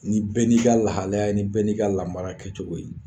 Ni bɛɛ n'i ka lahalaya ni bɛɛ n'i ka lamara kɛcogo ye